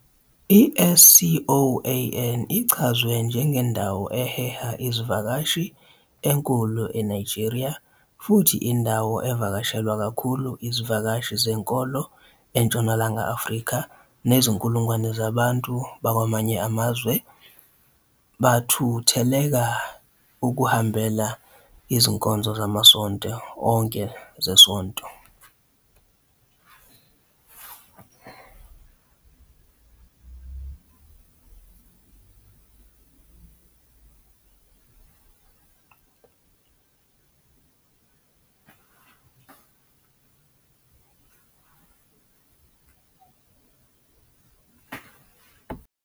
I-SCOAN ichazwe "njengendawo eheha izivakashi enkulu eNigeria" futhi "indawo evakashelwa kakhulu izivakashi zenkolo eNtshonalanga Afrika," nezinkulungwane zabantu bakwamanye amazwe bathutheleka ukuhambela izinkonzo zamasonto onke zesonto.